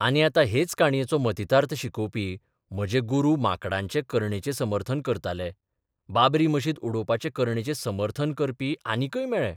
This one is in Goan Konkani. आनी आतां हेच काणयेचो मतितार्थ शिकोबपी म्हजे गुरू माकडांचे करणेचें समर्थन करताले बाबरी मशीद उडोवपाचे करणेचें समर्थन करपी आनिकय मेळ्ळे.